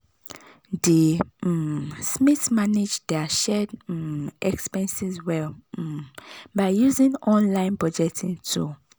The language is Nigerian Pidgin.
di um smiths manage dir shared um expenses well um by using online budgeting tool.